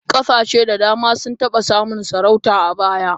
Kasashe da dama sun taba samun sarauta a baya.